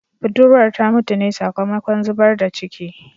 Budurwar ta mutu ne sakamakon zubar da ciki